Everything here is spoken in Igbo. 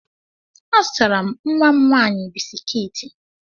Azụtara m nwa m nwaanyị biskiiti.